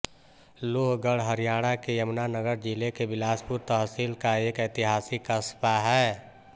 लोहगढ़ हरियाणा के यमुनानगर जिले के बिलासपुर तहसील का एक ऐतिहासिक कस्बा है